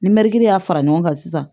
Ni mɛɛri y'a fara ɲɔgɔn kan sisan